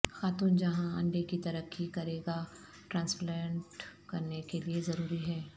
خاتون جہاں انڈے کی ترقی کرے گا ٹرانسپلانٹ کرنے کے لئے ضروری ہے